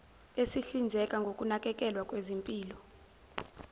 esihlinzeka ngokunakekelwa kwezempilo